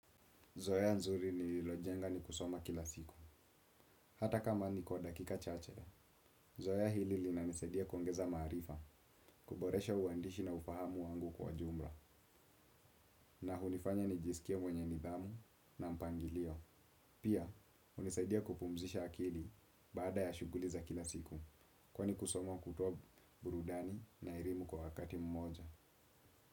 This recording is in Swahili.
Zoea nzuri nililojenga ni kusoma kila siku, hata kama ni kwa dakika chache. Zoea hili linanisaidia kuongeza maarifa, kuboresha uandishi na ufahamu wangu kwa jumla, na hunifanya nijisikie mwenye nidhamu na mpangilio. Pia, hunisaidia kupumzisha akili baada ya shughuli za kila siku, kwani kusoma hutoa burudani na erimu kwa wakati mmoja.